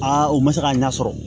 u ma se ka ɲɛ sɔrɔ